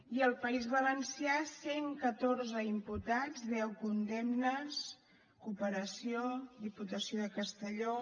i al país valencià cent i catorze imputats deu condemnes cooperació diputació de castelló